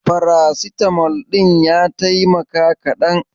Farasitamol ɗin ya taimaka kaɗan?